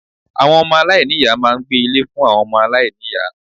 Àwon Ọmọ aláìníìyá máa n gbé Ilé fún àwon omo aláìniya